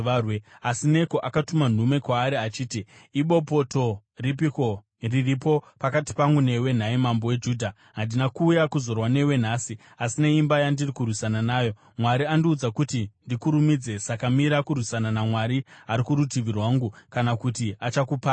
Asi Neko akatuma nhume kwaari achiti, “Ibopoto ripiko riripo pakati pangu newe, nhai mambo weJudha? Handina kuuya kuzorwa newe nhasi, asi neimba yandiri kurwisana nayo. Mwari andiudza kuti ndikurumidze; saka mira kurwisana naMwari, ari kurutivi rwangu, kana kuti achakuparadza.”